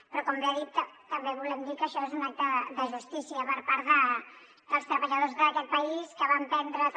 però com bé ha dit també volem dir que això és un acte de justícia per part dels treballadors d’aquest país que van perdre també